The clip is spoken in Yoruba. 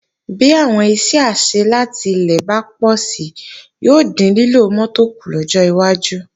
Bí àwọn iṣẹ́ àṣẹ láti ilé bá pọ̀si yóò dín lílo mọ́tò kù lọ́jọ́ iwájú